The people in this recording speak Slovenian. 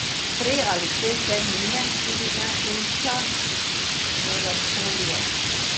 Prej ali slej vse mine, tudi najhujša melanholija.